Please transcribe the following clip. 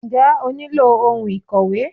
Njẹ́ o nílò ohun ìkòwé?